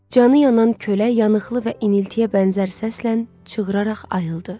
Canı yanan kölə yanıqlı və iniltiyə bənzər səslə çığıraraq ayıldı.